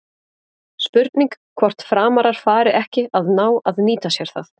Spurning hvort Framarar fari ekki að ná að nýta sér það?